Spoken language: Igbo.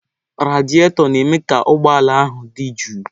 Radịatọ na-eme ka ụgbọ ala ahụ dị jụụ.